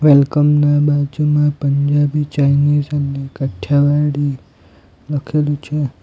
Welcome ના બાજુમાં Punjabi Chinese અને કાઠીયાવાડી લખેલું છે.